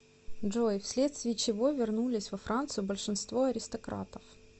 джой вследствие чего вернулись во францию большинство аристократов